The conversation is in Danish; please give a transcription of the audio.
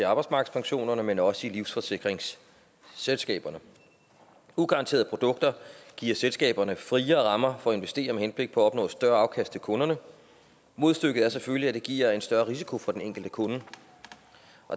arbejdsmarkedspensioner men også i livsforsikringsselskaberne ugaranterede produkter giver selskaberne friere rammer for at investere med henblik på at opnå et større afkast til kunderne modstykket er selvfølgelig at det giver en større risiko for den enkelte kunde